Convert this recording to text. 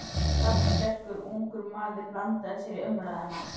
Raddsterkur, ungur maður blandaði sér í umræðuna.